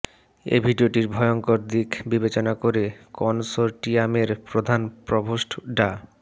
এই ভিডিওটির ভয়ঙ্কর দিক বিবেচনা করে কনসোর্টিয়ামের প্রধান প্রভোস্ট ডা